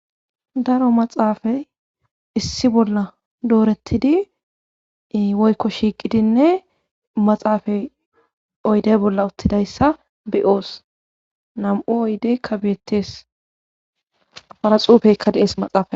daro maxaafay issi bolla doorettidi woykko shiiqidinne maxaafay oydey bolla uttidayssa be'oos nam'u oydeyka betes afara xuupeekka de'es maxaafn